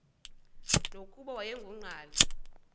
nokuba wayengu nqal